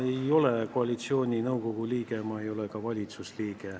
Ma ei ole koalitsiooninõukogu liige, ma ei ole ka valitsusliige.